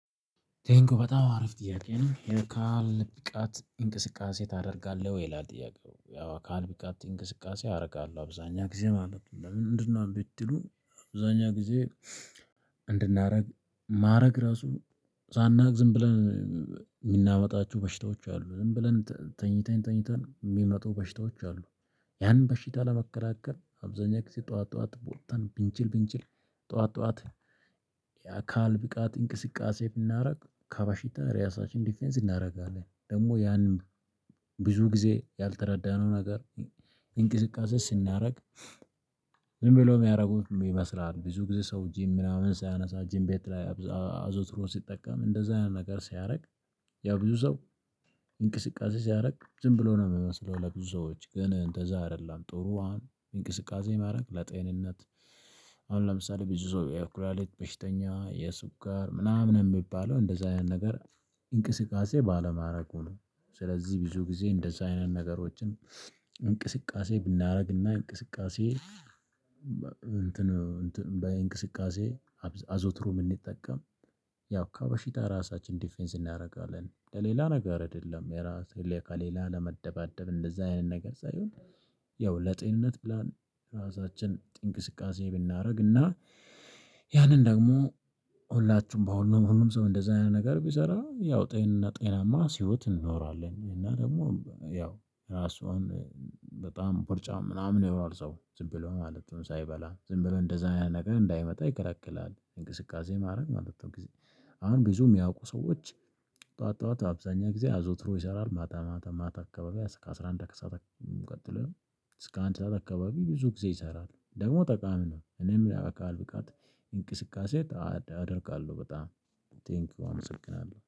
ቴንኪው በጣም አሪፍ ጥያቄ ነው የአካል ብቃት እንቅስቃሴ ታደርጋለህ? ወይ ይላል ጥያቄው ያው የአካል ብቃት እንቅስቃሴ አደርጋለሁ አብዛኛውን ጊዜ ማለት ነው። ለምንድነው ብትሉ አብዛኛውን ጊዜ እንድናደርግ ማድረግ ራሱ ሳናውቅ ዝም ብለን የምናመጣቸው በሽታዎች አሉ። ዝም ብለን ተኝተን ተኝተን የሚመጡ በሽታዎች አሉ። ያንን በሽታ ለመከላከል አብዛኛው ጊዜ ጠዋት ጠዋት ውጠን ብንችል ብንችል ጥዋት ጥዋት የአካል ብቃት እንቅስቃሴ ብናደርግ ከበሽታ ራሳችን ዲፌንስ እናደርጋለን። ደግሞ ያንን ብዙ ጊዜ ያልተረዳነው ነገር። እንቅስቃሴ ስናደርግ። ዝም ብሎ የሚያደርጉት ይመስላል ብዙ ጊዜ ሰው ጅም ምናምን ሲያነሳ ጂም ቤት ላይ። አዘውትሮ ሲጠቀም እንደዛ አይነት ነገር ሲያደርግ። ያው ብዙ ሰው። እንቅስቃሴ ሲያደርግ ዝም ብሎ ነው የሚመስለው ለብዙ ሰዎች ግን እንደዛ አይደለም። ጥሩ አሁን እንቅስቃሴ ማድረግ ለጤንነት። አሁን ለምሳሌ ብዙ ሰው የኩላሊት በሽተኛ የስኳር ምናምን የሚባለው እንደዛ አይነት ነገር። እንቅስቃሴ ባለማድረጉ ነው። ስለዚህ ብዙ ጊዜ እንደዛ አይነት ነገሮችን። እንቅስቃሴ ብናደርግና እንቅስቃሴ እንትን በእንቅስቃሴ አዘውትሮ ብምንጠቀም ያው ከበሺታ ራሳችን ዲፌንስ እናደርጋለን። ለሌላ ነገር አይደለም የራሴን ሁሌ ከሌላ ለመደባደብ እንደዛ አይነት ነገር ሳይሆን። ያው ለጤንነት ብለን ራሳችን እንቅስቃሴ ብናደርግ እና ያንን ደግሞ ሁላችሁም በሁሉም ሁሉም ሰው እንደዚህ አይነት ነገር ቢሰራ ያው ጤና ጤናማ ህይወት እንኖራለን። እና ደግሞ ያው ራሷን በጣም ቦርጫም ምናምን ይለዋል ሰው ዝም ብሎ ማለት ነው ሳይበላ ዝም ብሎ እንደዛ ያን ነገር እንዳይመጣ ይከለክላል እንቅስቃሴ ማድረግ ማለት ነው። አሁን ብዙ የሚያውቁ ሰዎች። ጠዋት ጠዋት አብዛኛውን ጊዜ አዘውትረው ይሰራሉ ማታ ማታ ማታ አካባቢ ከአስራ አንድ ሰዓት። ቀጥሎ እስከ አንድ ሰዓት አካባቢ ብዙ ጊዜ ይሰራል ደግሞ ጠቃሚ ነው። እኔም የአካል ብቃት እንቅስቃሴ አደርጋለሁ። በጣም ቴንኪው አመሰግናለሁ